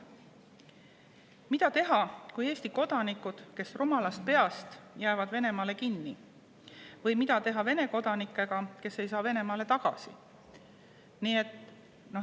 Mida teha, kui Eesti kodanikud rumalast peast jäävad Venemaale kinni, või mida teha Vene kodanikega, kes ei saa Venemaale tagasi?